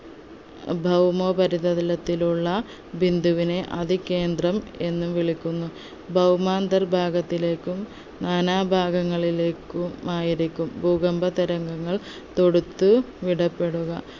ഭൗമോപരിത തലത്തിലുള്ള ബിന്ദുവിനെ അത കേന്ദ്രം എന്ന് വിളിക്കുന്നു ഭൗമാന്ദർ ഭാഗങ്ങളിലേക്കും നാനാഭാഗങ്ങളിലേക്കുമായിരിക്കും ഭൂകമ്പ തരംഗങ്ങൾ തൊടുത്ത് വിടപ്പെടുക